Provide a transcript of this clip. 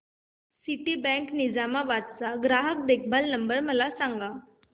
Citibank Nizamabad चा ग्राहक देखभाल नंबर मला सांगा